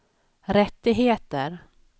rättigheter